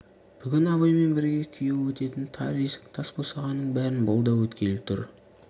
бүгін абаймен бірге күйеу өтетін тар есік тас босағаның бәрін бұл да өткелі тұр